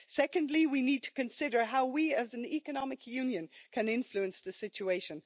Secondly, we need to consider how we as an economic union can influence the situation.